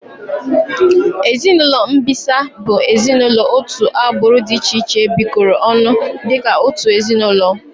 Ezinaụlọ mbisa bụ ezinaụlọ otu agbụrụ dị iche iche bikoro ọnụ dịka otu ezinaụlọ